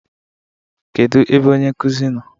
Kedu ebe onye nkuzi nọ?